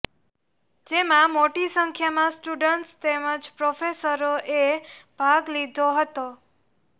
જેમાં મોટી સંખ્યામાં સ્ટુડટ્સ તેમજ પ્રોફેસરોએ ભાગ લીધો હતો